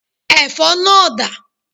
Ẹ̀fọ́ náà dà?